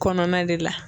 Kɔnɔna de la